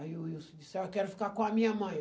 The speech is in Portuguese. Aí o Wilson disse, ah, eu quero ficar com a minha mãe.